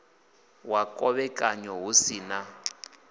wa khovhekanyo hu si na